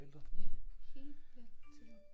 Ja hele tiden